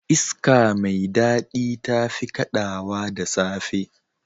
Iska mai dadi tafi kadawa da safe.